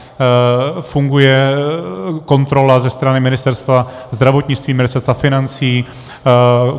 Funguje kontrola ze strany Ministerstva zdravotnictví, Ministerstva financí.